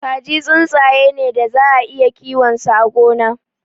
Kaji tsuntsaye ne daza a iya yin kiyo a gona.